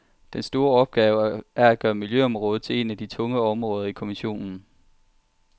Den store opgave er at gøre miljøområdet til et af de tunge områder i kommissionen.